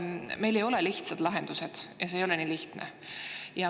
Meil ei ole lihtsaid lahendusi ja see ei ole nii lihtne.